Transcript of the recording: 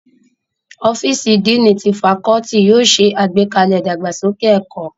Ọ́fíìsì Díìnì ti fakọ́ọ́tì yóò ṣe àgbékalẹ̀ ìdàgbàsókè ẹ̀kọ́.